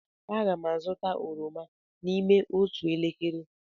Aga m azụta oroma n'ime otu elekere.